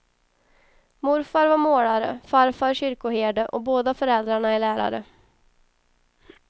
Morfar var målare, farfar kyrkoherde och båda föräldrarna är lärare.